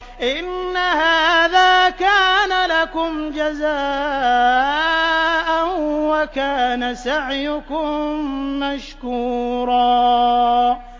إِنَّ هَٰذَا كَانَ لَكُمْ جَزَاءً وَكَانَ سَعْيُكُم مَّشْكُورًا